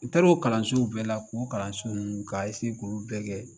N taar'o kalansow bɛɛ la k'o kalanso ninnu k'a k'olu bɛɛ kɛ